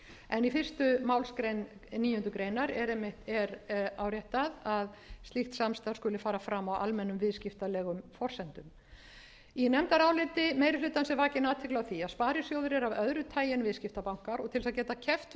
en í fyrstu málsgrein níundu grein er áréttað að slíkt samstarf skuli fara fram á almennum viðskiptalegum forsendum í nefndaráliti meiri hlutans er vakin athygli á því að sparisjóðir eru af öðru taginu viðskiptabankar og til að geta keppt við